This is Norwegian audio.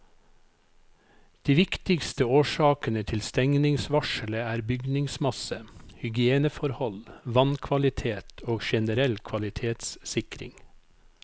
De viktigste årsakene til stengningsvarselet er bygningsmasse, hygieneforhold, vannkvalitet og generell kvalitetssikring.